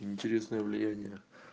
интересные влияние